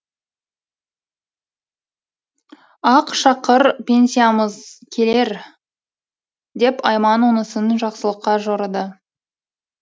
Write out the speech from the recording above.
ақ шақыр пенсиямыз келер деп айман онысын жақсылыққа жорыды